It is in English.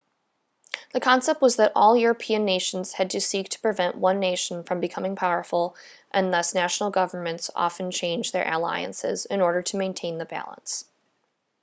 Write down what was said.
the concept was that all european nations had to seek to prevent one nation from becoming powerful and thus national governments often changed their alliances in order to maintain the balance